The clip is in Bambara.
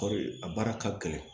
Kɔɔri a baara ka gɛlɛn